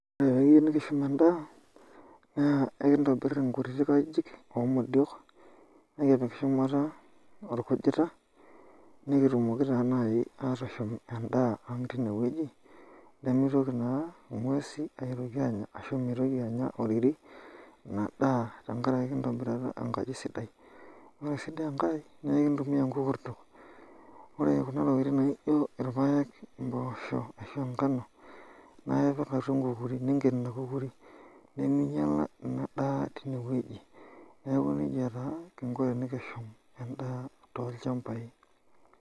Ore tenikiyieu nikishum endaa na enkitobir nkutiajijik omodio nikipik shumata orkujita nikitumoki na nai ashum endaa aang tinewueji nemitoki naa ngwesi aitoki anya ashu mitoki na anya oriri inadaa tenkaraki intobira enkaji sidai, ore enkae na enkitumia nkukurtok ore kuna tokitin naji irpaek, mpoosho onkano na ipik atua enkukuri niminyala ina daa tinewueji, neaku nejia kingo nikishum endaa tolchambai